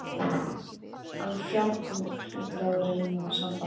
En fjarbúð hlýtur að reyna á sambandið.